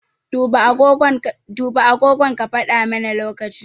Duba agogon ka faɗa mana lokaci.